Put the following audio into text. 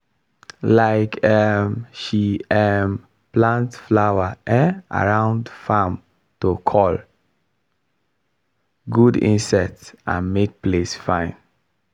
um um she um plant flower um around farm to call good insect and make place fine.